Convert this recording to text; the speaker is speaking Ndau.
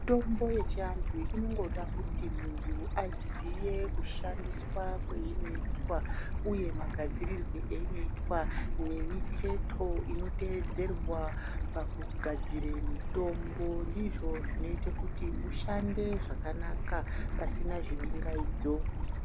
Mitombo yechiantu inongoda kuti muntu aziye kushandiswa kweinoitwa uye magadzirirwe einoitwa nemiketo inoteedzerwa pakugadzire mitombo ndizvo zvinoite kuti ushande zvakanaka pasina zvibingaidzo